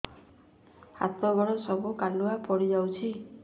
ହାତ ଗୋଡ ସବୁ କାଲୁଆ ପଡି ଯାଉଛି